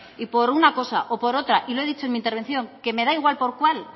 y por una cosa o por otra y lo he dicho en mi intervención que me da igual por cuál